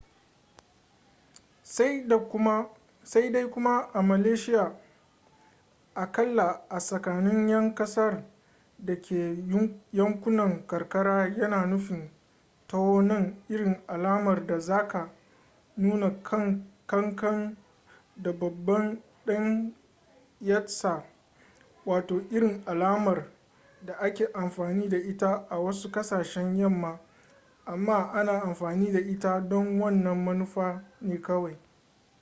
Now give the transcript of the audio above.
sai dai kuma a malaysiya aƙalla a tsakanin 'yan kasar da ke yankunan karkara yana nufin taho nan irin alamar da zaka nuna kankan da babban dan yatsa wato irin alamar da ake amfani da ita a wasu ƙasashen yamma amma ana amfani da ita don wannan manufa ne kawai